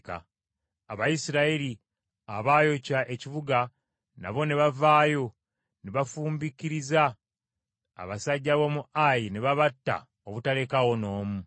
Abayisirayiri abaayokya ekibuga nabo ne bavaayo ne bafuumbikiriza abasajja b’omu Ayi ne babatta obutalekaawo n’omu.